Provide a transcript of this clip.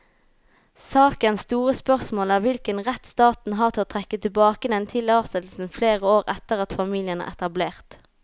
Sakens store spørsmål er hvilken rett staten har til å trekke tilbake denne tillatelsen flere år etter at familien er etablert.